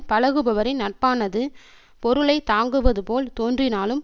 பழகுபவரின் நட்பானது பொருளை தாங்குவதுபோல் தோன்றினாலும்